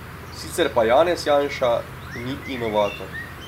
Sicer pa Janez Janša ni inovator.